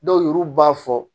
Dɔw yɛruw b'a fɔ